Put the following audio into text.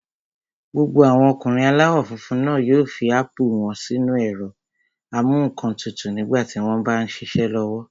Gbogbo àwọn ọkùnrin aláwọ̀ funfun náà yóò fi ápù wọ́n sínu ẹ̀rọ-amúǹkantutù nígbà tí wọ́n m bá ṣiṣẹ́ lọ́wọ́